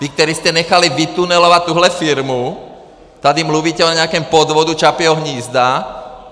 Vy, kteří jste nechali vytunelovat tuhle firmu, tady mluvíte o nějakém podvodu Čapího hnízda.